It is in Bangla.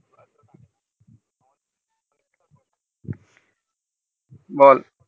বল